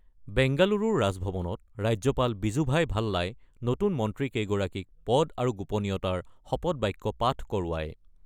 বেংগালুৰুৰ ৰাজভৱনত ৰাজ্যপাল বিজুভাই ভাল্লাই নতুন মন্ত্ৰীকেইগৰাকীক পদ আৰু গোপনীয়তাৰ শপতবাক্য পাঠ কৰোৱায়।